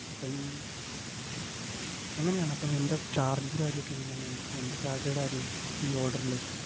അപ്പം എങ്ങനെയാണ് അപ്പം എൻ്റെ charge ൻറെ കാര്യയൊക്കെ എങ്ങനെയാണ്? എനിക്ക് എന്റെ salary യുടെ കാര്യം, ഈ order ഇല്